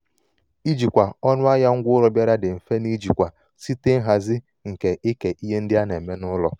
ijikwa ọnụahịa ngwaaụlọ bịara dị mfe n'ijikwa site nhazi nke ike ihe ndị a ndị a na-eme n'ụlọ.